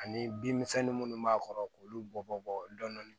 Ani bin misɛnnin minnu b'a kɔrɔ k'olu bɔ bɔ dɔndɔni